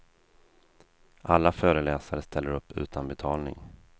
Alla föreläsare ställer upp utan betalning.